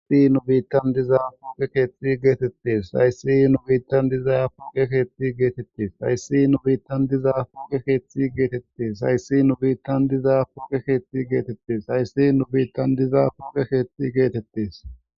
haysi nu biittan diza pouqe keethxi geetettes hayssi nu biittan dizaya pouqe keethti geetettis hayssi nu biittan diza puuqe keeththi geetettes hayssi nu biittan diza puuqe keeththi geetettes hayssi nu biittan diza puuqe keethti geetettes